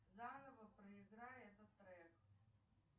заново проиграй этот трек